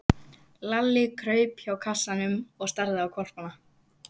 Lalli kraup hjá kassanum og starði á hvolpana.